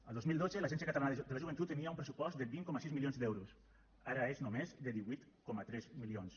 el dos mil dotze l’agència catalana de la joventut tenia un pressupost de vint coma sis milions d’euros ara és només de divuit coma tres milions